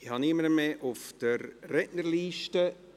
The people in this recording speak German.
Ich habe niemanden mehr auf der Rednerliste.